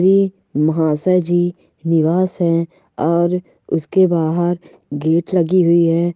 ये महासाजी निवास है और उसके बाहर गेट लगी हुई है।